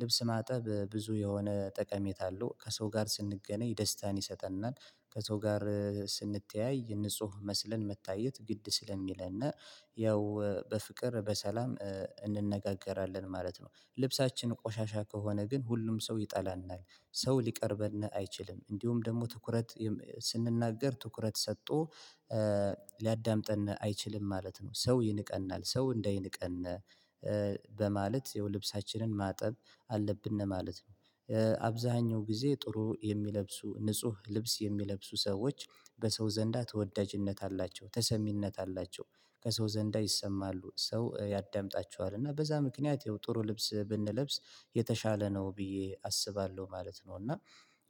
ልብስ ማጠብ ብዙ የሆነ ጠቀሜታ አለው። ከሰው ጋር ስንገናኝ ደስታን ይሰጠናል። ከሰው ጋር ስንተያይ ንጹህ መስለን መታየት ግድ ስለሚለን እና ያው፣ በፍቅር በሰላም እ እንነጋገራለን ማለት ነው። ልብሳችን ቆሻሻ ከሆነ ግን ሁሉም ሰው ይጠላናል፣ ሰው ሊቀርበን አይችልም። እንዲሁም ደግሞ ትኩረት ስንናገር፣ ትኩረት ሰጥቶ ኤ ሊያዳምጠን አይችልም ማለት ነው። ሰው ይንቀናል፣ ሰው እንደሚንቀን ኤ በማለት፣ ያው፣ ልብሳችንን ማጠብ አለብን ነው ማለት ነው። ኤ አብዛኛውን ጊዜ ጥሩ የሚለብሱ፣ ንጹህ ልብስ የሚለብሱ ሰዎች በሰው ዘንዳ ተወዳጅነት አላቸው። ተሰሚነት አላቸው፣ ከሰው ዘንዳ ይሰማሉ፣ ሰው ያዳምጣቸዋል። እና በዚህ ምክንያት ይኸው፣ ጥሩ ልብስ ብንለብስ የተሻለ ነው ብዬ አስባለሁ ማለት ነው። እና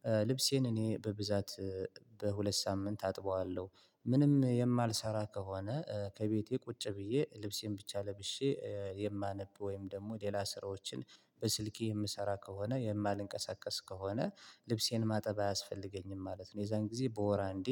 ኤ ልብሴን እኔ በብዛት እ በሁለት ሳምንት አጥባለሁ። ምንም የማልሠራ ከሆነ፣ ኤ ከቤቴ ቁጭ ብዬ ልብሴን ብቻ ለብሼ እ የማነብ ወይም ደግሞ ሌላ ስራዎችን በስልኬ የምሰራ ከሆነ፣ የማልንቀሳቀስ ከሆነ፣ ልብሴን ማጠብ አያስፈልገኝም ማለት ነው። የዚያን ጊዜ በወር አንዴ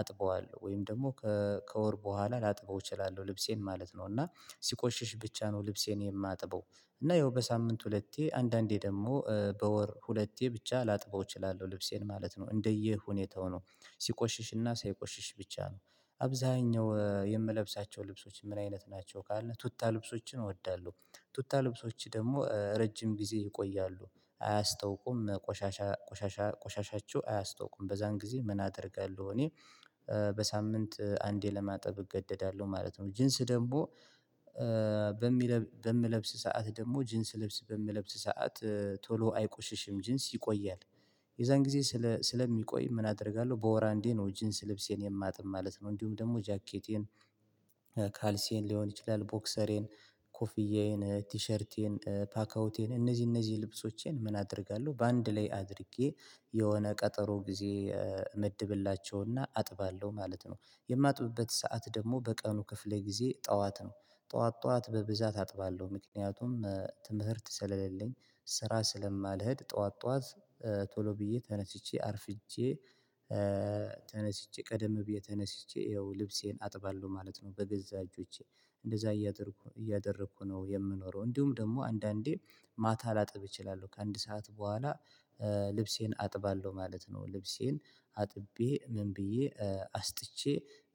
አጥባለሁ ወይም ደግሞ ከእ ከወር በኋላ ላጥበው እችላለሁ ልብሴን ማለት ነው። እና ሲቆሽሽ ብቻ ነው ልብሴን የማጥበው። እና ያው፣ በሳምንት ሁለቴ፣ አንዳንዴ ደግሞ ኤ በወር ሁለቴ ብቻ ላጥበው እችላለሁ ልብሴን ማለት ነው። እንደ ሁኔታው ነው፤ ሲቆሽሽና ሳይቆሽሽ ብቻ ነው። አብዛኛው ኤ የምለብሳቸው ልብሶች ምን አይነት ናቸው ካለ፣ ቱታ ልብሶችን እወዳለሁ። ቱታ ልብሶች ደግሞ ረጅም ጊዜ ይቆያሉ። አያስታውቁም ቆሻሻ፣ ቆሻሻ፣ ቆሻሻችሁ አያስታውቁም። በዚያን ጊዜ ምን አደርጋለሁ እኔ ኤ በሳምንት አንዴ ለማጠብ እገደዳለሁ ማለት ነው። ጂንስ ደግሞ ኤ በምለብስበት ሰዓት፣ ጂንስ ልብስ በምለብስበት ሰዓት ኤ ቶሎ አይቆሽሽም። ጂንስ ይቆያል። የዚያን ጊዜ ስለ ስለሚቆይ ምን አደርጋለሁ? በወር አንዴ ነው ጂንስ ልብሴን የማጥበው ማለት ነው። እንዲሁም ደግሞ ጃኬቴን ኤ ካልሴን ሊሆን ይችላል፣ ቦክሰሬን፣ ኮፍዬን፣ ቲሸርቴን፣ ፓካውቴን፤ እነዚህ ልብሶቼን ምን አደርጋለሁ? በአንድ ላይ አድርጌ የሆነ ቀጠሮ ጊዜ እመድብላቸውና አጥባለሁ ማለት ነው። የማጥብበት ሰዓት ደግሞ በቀኑ ክፍል፣ ጊዜ ጠዋት ነው። ጠዋት ጠዋት በብዛት አጥባለሁ፣ ምክንያቱም ትምህርት ስለሌለኝ፣ ስራ ስለማልሄድ ጠዋት ጠዋት ኤ ቶሎ ብዬ ተነስቼ አርፍጄ ኤ ተነስቼ፣ ቀደም ብዬ ተነስቼ ያው ልብሴን አጥባለሁ ማለት ነው። በገዛ እጆቼ እንደዚያ እያደረኩ ነው የምኖረው። እንዲሁም ደግሞ አንዳንዴ ማታ ላጥብ እችላለሁ፣ ከአንድ ሰዓት በኋላ ኤ ልብሴን አጥባለሁ ማለት ነው። ልብሴን አጥቤ ምን ብዬ ኤ አስጥቼ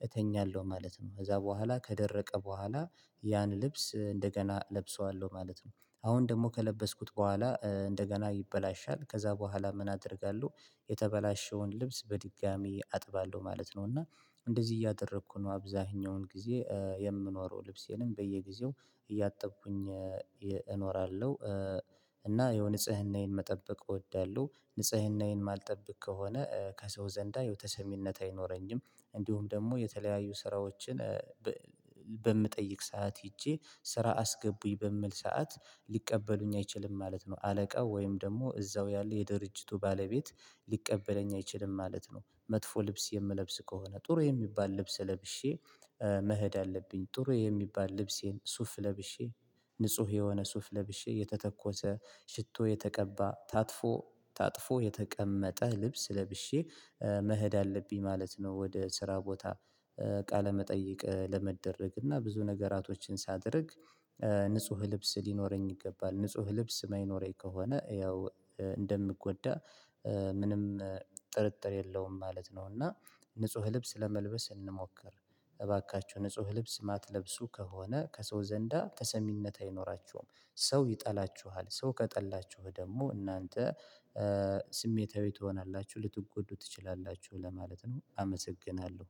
እተኛለሁ ማለት ነው። ከዚያ በኋላ ከደረቀ በኋላ ያን ልብስ እንደገና እለብሰዋለሁ ማለት ነው። አሁን ደግሞ ከለበስኩት በኋላ ኤ እንደገና ይበላሻል። ከዚያ በኋላ ምን አደርጋለሁ? የተበላሸውን ልብስ በድጋሚ አጥባለሁ ማለት ነው። እና እንደዚህ እያደረኩ ነው አብዛኛውን ጊዜ ኤ የምኖረው። ልብሴንም በየጊዜው እያጠብኩ እኖራለሁ ኤ እና የንጽህናዬን መጠበቅ እወዳለሁ። ንጽህናዬን ማልጠብቅ ከሆነ ከሰው ዘንድ ተሰሚነት አይኖረኝም። እንዲሁም ደግሞ የተለያዩ ስራዎችን ኤ በ በምጠይቅበት ሰዓት ሄጄ ስራ አስገቡኝ ብዬ በምልበት ሰዓት ሊቀበሉኝ አይችሉም ማለት ነው። አለቃው ወይም ደግሞ እዚያው ያለው የድርጅቱ ባለቤት ሊቀበለኝ አይችልም ማለት ነው። መጥፎ ልብስ የምለብስ ከሆነ፣ ጥሩ የሚባል ልብስ ለብሼ ኤ መሄድ አለብኝ። ጥሩ የሚባል ልብሴን፣ ሱፍ ለብሼ፣ ንጹህ የሆነ ሱፍ ለብሼ፣ የተቀባ ሽቶ የተቀመመ፣ ታጥፎ ታጥፎ የተቀመጠ ልብስ ለብሼ ኤ መሄድ አለብኝ ማለት ነው፣ ወደ ስራ ቦታ ኤ ቃለ መጠይቅ ለመደረግ። እና ብዙ ነገሮችን ሳደርግ ኤ ንጹህ ልብስ ሊኖረኝ ይገባል። ንጹህ ልብስ የማይኖረኝ ከሆነ ያው እ እንደምጎዳ ኤ ምንም ኤ ጥርጥር የለውም ማለት ነው። እና ንጹህ ልብስ ለመልበስ እንሞክር። እባካችሁ፣ ንጹህ ልብስ የማትለብሱ ከሆነ ከሰው ዘንድ ተሰሚነት አይኖራችሁም፣ ሰው ይጠላችኋል። ሰው ከጠላችሁ ደግሞ እናንተ ኤ ስሜታዊ ትሆናላችሁ፣ ልትጎዱ ትችላላችሁ ለማለት ነው። አመሰግናለሁ።